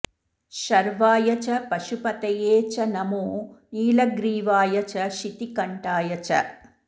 शर्वाय च पशुपतये च नमो नीलग्रीवाय च शितिकण्ठाय च